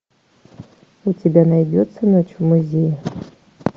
у тебя найдется ночь в музее